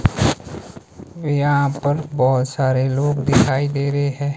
यहां पर बहुत सारे लोग दिखाई दे रहे है।